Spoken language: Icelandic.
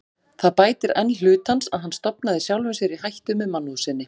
Það bætir enn hlut hans, að hann stofnaði sjálfum sér í hættu með mannúð sinni.